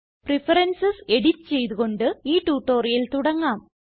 preferences edit ചെയ്ത് കൊണ്ട് ഈ ട്യൂട്ടോറിയൽ തുടങ്ങാം